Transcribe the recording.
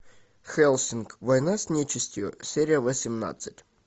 хельсинг война с нечестью серия восемнадцать